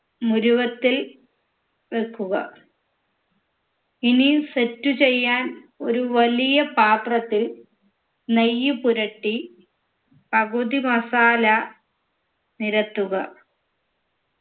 നുരുവത്തിൽ വെക്കുക ഇനിയും set ചെയ്യാൻ ഒരു വലിയ പാത്രത്തിൽ നെയ്യ് പുരട്ടി പകുതി masala നിരത്തുക